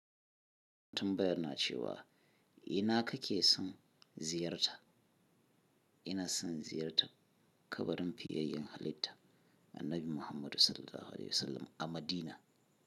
Tambayan na cewa ina kake son ziyarta? Ina son ziyartar kabarin fiyayyen halitta annabi Muhammadu Sallallahu Alaihi Wasallam a Madina.